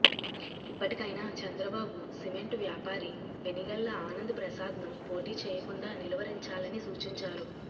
ఇప్పటికైనా చంద్రబాబు సిమెంట్ వ్యాపారి వెనిగళ్ల ఆనంద్ ప్రసాద్ ను పోటీ చేయకుండా నిలువరించాలని సూచించారు